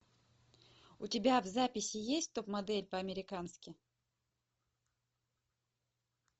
у тебя в записи есть топ модель по американски